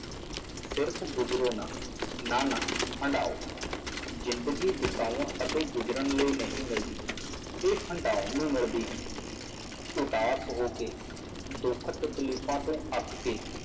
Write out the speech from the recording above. ਗੁਜ਼ਰੋ ਨਾ, ਨਾ ਨਾ ਹੰਡਾਓ ਜ਼ਿੰਦਗੀ ਬਤਾਉਣ ਅਤੇ ਗੁਜ਼ਰਨ ਲਈ ਨਹੀਂ ਮਿਲਦੀ, ਇਹ ਹੰਡਾਉਣ ਨੂੰ ਮਿਲਦੀ ਹੈ, ਉਦਾਸ ਹੋ ਕੇ ਦੁੱਖ ਤਕਲੀਫ਼ਾਂ ਤੋਂ ਅੱਕ ਕੇ,